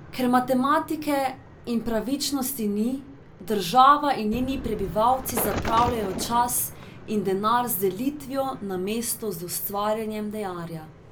Ker matematike in pravičnosti ni, država in njeni prebivalci zapravljajo čas in denar z delitvijo namesto z ustvarjanjem denarja.